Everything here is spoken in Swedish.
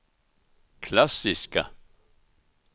klassiska